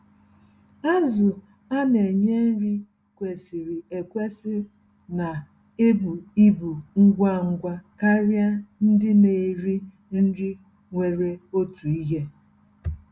Azụ a-nenye nri kwesịrị ekwesị na-ebu ibu ngwa ngwa karịa ndị na-eri nri nwere otu ihe.